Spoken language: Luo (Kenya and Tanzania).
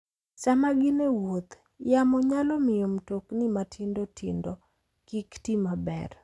Sama gin e wuoth, yamo nyalo miyo mtokni matindo tindo kik ti maber.